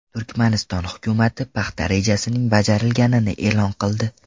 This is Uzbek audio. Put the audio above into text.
Turkmaniston hukumati paxta rejasining bajarilganini e’lon qildi.